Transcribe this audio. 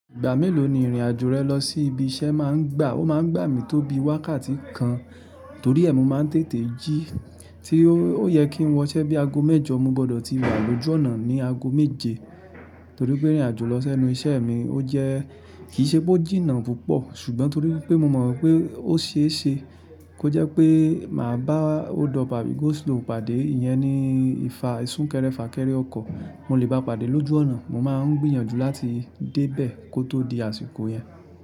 Ìgbà mélòó ni ìrìn-àjò rẹ lọ sí ibi iṣẹ́ máa ń gbà? Ó máa ń gbà mí tó bíi wákàtí kan torí ẹ mo máa ń tètè jí. Tí ó yẹ kí n wọṣẹ́ bí i aago mẹ́jọ, mo gbọ́dọ̀ ti wà lójú ọ̀nà ní aago méje torí pé ìrìn-àjò lọ sẹ́nu iṣẹ́ mi ó jẹ́ kì í ṣe pé ó jìnnà púpọ̀ ṣùgbọ́n torí wípé mo mọ̀ wípé ó ṣe é ṣe kó jẹ́ pé màá bá holdup àbí go slow pàdé, ìyẹn ni ìfa ìsúnkẹrẹ fàkẹrẹ ọkọ̀. Mo lè bá pàdé lójú ọ̀nà. Mo máa ń gbìyànjú láti dé bẹ̀ẹ̀ kó tó di àsìkò yẹn.